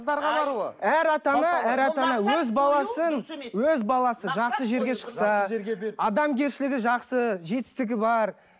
әр ата ана әр ата ана өз баласын өз баласы жақсы жерге шықса адамгершілігі жақсы жетістігі бар